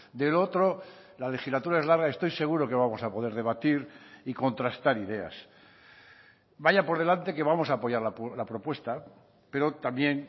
de lo otro la legislatura es larga estoy seguro que vamos a poder debatir y contrastar ideas vaya por delante que vamos a apoyar la propuesta pero también